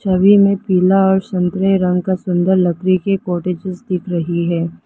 सभी में पीला और संतरे रंग का सुंदर लकड़ी के कॉटेजेस दिख रही है।